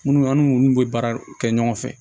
Munnu an n'u bɛ baara kɛ ɲɔgɔn fɛ